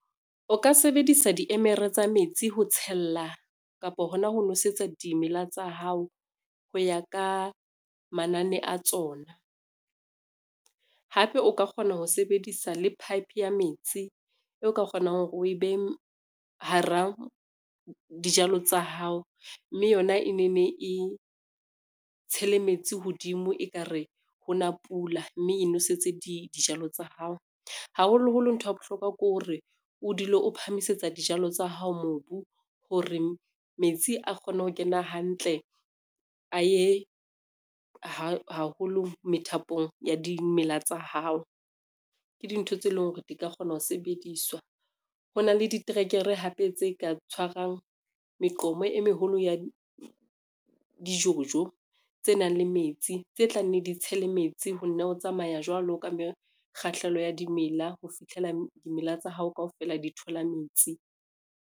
O ka sebedisa diemere tsa metsi ho tshella kapo hona ho nwesetsa dimela tsa hao ho ya ka manane a tsona. Hape o ka kgona ho sebedisa le pipe ya metsi eo ka kgonang hore o e behe hara dijalo tsa hao, mme yona e ne ne e tshele metsi hodimo ekare ho na pula, mme e nosetse dijalo tsa hao. Haholoholo ntho ya bohlokwa ke hore o dule o phamisitse dijalo tsa hao mobu hore metsi a kgone ho kena hantle, a ye haholo methapong ya dimela tsa hao, ke dintho tse leng hore di ka kgona ho sebediswa. Ho na le ditrekere hape tse ka tshwarang meqomo e meholo ya di-jojo tse nang le metsi, tse tlanneng di tshele metsi ho nna ho tsamaya jwalo ka mme kgahleho ya dimela ho fitlhela dimela tsa hao kaofela di thola metsi.